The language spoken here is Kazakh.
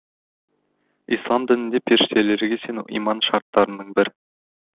ислам дінінде періштелерге сену иман шарттарының бірі